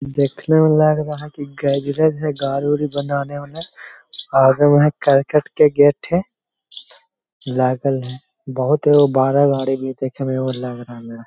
देखने में लग रहा की गजरेस है गाड़ी-उड़ी बनाने वाला आगे में है करकट के गेट है लागल है बहुत ही वो बरा बरी भी देखने में वो लग रहा मेरा --